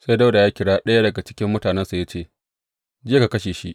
Sai Dawuda ya kira ɗaya daga cikin mutanensa ya ce, Je ka kashe shi!